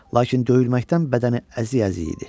Lakin döyülməkdən bədəni əzi-əzi idi.